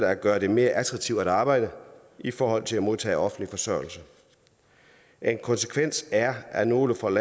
at gøre det mere attraktivt at arbejde i forhold til at modtage offentlig forsørgelse en konsekvens er at nogle får et